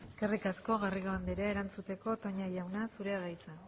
eskerrik asko garrido andrea erantzuteko toña jauna zurea da hitza